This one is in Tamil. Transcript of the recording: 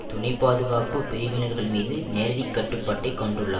துணைப்பாதுகாப்பு பிரிவினர்கள் மீது நேரடிக்கட்டுப்பாட்டை கொண்டுள்ளார்